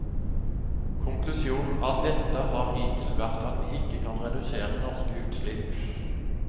Konklusjonen av dette har hittil vært at vi ikke kan redusere norske utslipp.